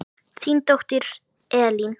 Þín dóttir Elín.